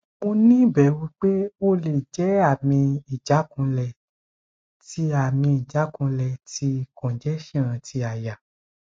mo ni iberu pe ole je ami ijakunle ti ami ijakunle ti congestion ti aya